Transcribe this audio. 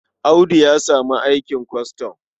Audu ya samu aikin kwastam.